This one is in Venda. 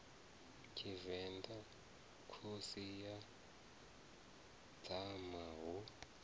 tshivenḓa khosi ya dzama hu